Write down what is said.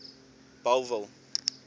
bellville